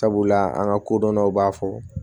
Sabula an ka kodɔndaw b'a fɔ